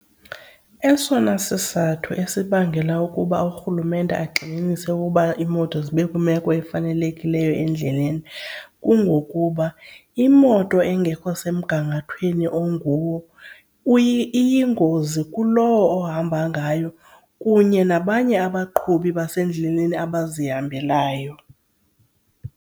Esona sizathu esibangela ukuba urhulumente agxininise ukuba iimoto zibe kwimeko efanelekileyo endleleni kungokuba imoto engekho semgangathweni onguwo iyingozi kulowo ohamba ngayo kunye nabanye abaqhubi abasendleleni abazihambelayo.